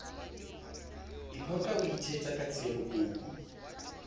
iphoqa o ithetsa ka tsiemokopu